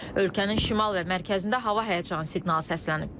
Ölkənin şimal və mərkəzində hava həyəcanı siqnalı səslənib.